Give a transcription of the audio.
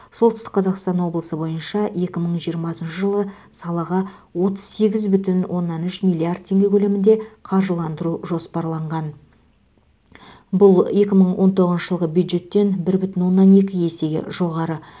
солтүстік қазақстан облысы бойынша екі мың жиырмасыншы жылы салаға отыз сегіз бүтін оннан үш миллиард теңге көлемінде қаржыландыру жоспарланған бұл екі мың он тоғызыншы жылғы бюджеттен бір бүтін оннан екі есеге жоғары